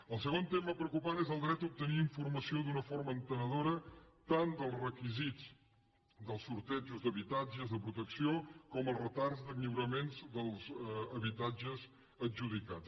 el segon tema preocupant és el dret d’obtenir informació d’una forma entenedora tant dels requisits dels sortejos d’habitatges de protecció com el retard de lliuraments dels habitatges adjudicats